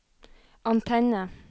antenne